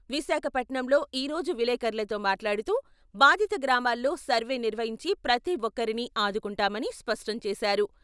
విశాఖపట్నంలో ఈరోజు విలేకర్లతో మాట్లాడుతూ, బాధిత గ్రామాల్లో సర్వే నిర్వహించి ప్రతి ఒక్కరినీ ఆదుకుంటామని స్పష్టం చేశారు.